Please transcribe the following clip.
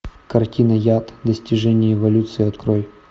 картина яд достижение эволюции открой